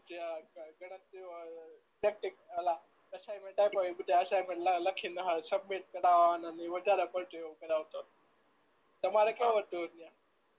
assignment આપે એ બધું લખી ને સબમિટ કરવાનું ને એ એવું વધાર પડતું એવું કરાવતો તમારે કેવું હતું એટલે